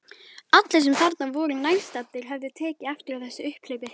Allir sem þarna voru nærstaddir höfðu tekið eftir þessu upphlaupi.